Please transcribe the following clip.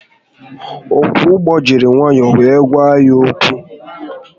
Ọkwọ ụgbọ jiri nwayọọ were gwa anyị okwu